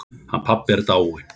Hann pabbi er dáinn.